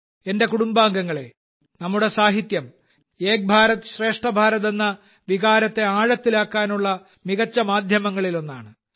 എന്റെ കുടുംബാംഗങ്ങളെ നമ്മുടെ സാഹിത്യം ഏക് ഭാരത് ശ്രേഷ്ഠ ഭാരത് എന്ന വികാരത്തെ ആഴത്തിലാക്കാനുള്ള മികച്ച മാധ്യമങ്ങളിൽ ഒന്നാണ്